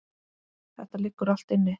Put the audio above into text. Þetta liggur allt inni